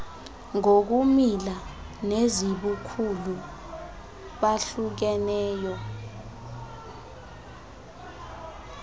ngokumila nezibukhulu bahlukeneyo